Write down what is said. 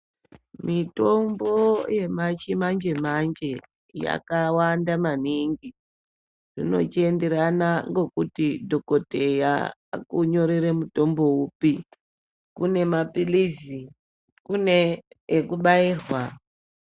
Mitombo yechimanje-manje yakawanda maningi. Zvinochienderana ngokuti dhokoteya akunyorere mutombo upi. Kune maphilizi, kune ekubairwa.